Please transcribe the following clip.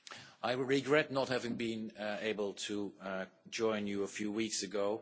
I regret not having been able to join you a few weeks ago